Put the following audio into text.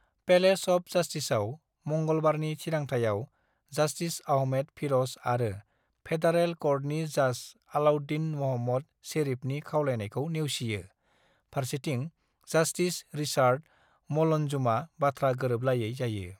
"Palace of जास्टिसाव मंगलबारनि थिरांथायाव, जास्टिस आहमेद फिर'ज आरो फेडारेल क'र्टनि जाज आलाउद्दिन म'हम्मद शेरिफनि खावलायनाइखौ नेवसियो, फारसेथिं जास्टिस रिचार्ड मलनजुमा बाथ्रा गोरोबलायै जायो।"